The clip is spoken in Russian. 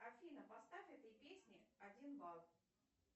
афина поставь этой песне один балл